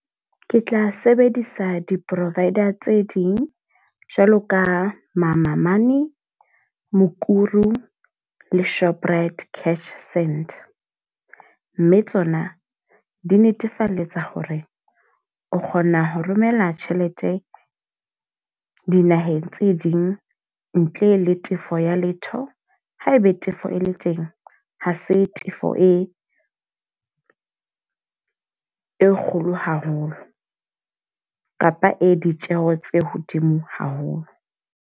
Ke tla sebedisa di-povider tse ding, jwalo ka mama money, mukuru le shoprite cash send. Mme tsona, di netefalletsa hore o kgona ho romella tjhelete dinaheng tse ding ntle le tefo ya letho. Ha ebe tefo e le teng, ha se tefo e e kgolo haholo. Kapa e ditjeho tse hodimo haholo.